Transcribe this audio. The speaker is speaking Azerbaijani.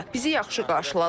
Bizi yaxşı qarşıladılar.